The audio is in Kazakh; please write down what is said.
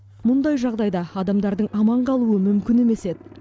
мұндай жағдайда адамдардың аман қалуы мүмкін емес еді